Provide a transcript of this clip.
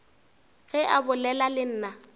ge a bolela le nna